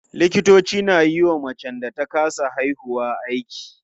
Likitoci na yiwa macen da ta kasa haihuwa aiki.